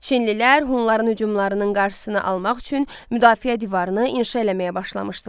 Çinlilər Hunların hücumlarının qarşısını almaq üçün müdafiə divarını inşa eləməyə başlamışdılar.